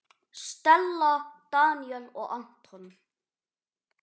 Stella, Daníel og Anton.